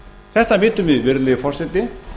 þetta vitum við virðulegi forseti